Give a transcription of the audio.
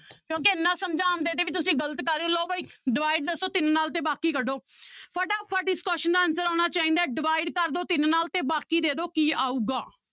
ਕਿਉਂਕਿ ਇੰਨਾ ਸਮਝਾਉਣ ਤੁਸੀਂ ਗ਼ਲਤ ਕਰ ਰਹੇ ਹੋ ਲਓ ਬਾਈ divide ਦੱਸੋ ਤਿੰਨ ਨਾਲ ਤੇ ਬਾਕੀ ਕੱਢੋ ਫਟਾਫਟ ਇਸ question ਦਾ answer ਆਉਣਾ ਚਾਹੀਦਾ ਹੈ divide ਕਰ ਦਓ ਤਿੰਨ ਨਾਲ ਤੇ ਬਾਕੀ ਦੇ ਦਓ ਕੀ ਆਊਗਾ।